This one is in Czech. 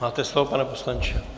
Máte slovo, pane poslanče.